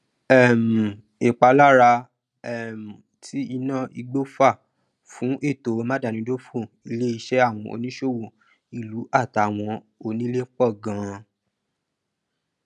um ìpalára um tí iná igbó fà fún ètò máadámidófò ilé iṣẹ àwọn oníṣòwò ìlú àti àwọn onílè pọ ganan